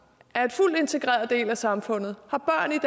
er en fuldt integreret del af samfundet